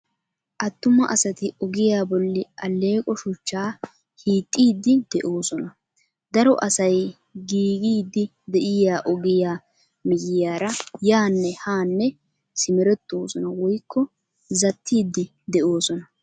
Attuma asati ogiyaa bolli alleeqo shuchchaa hiixxiiddi de"oosona. Daro asay giigiiddi de'iyaa ogiyaa miyyiyaara yaanne haanne simerettoosona woykko zattiiddi de"oosona.